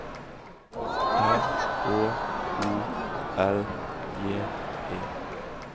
R Å O L J E